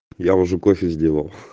я уже кофе сделал